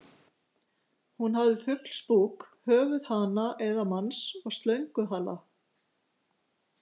Hún hafði fuglsbúk, höfuð hana eða manns og slönguhala.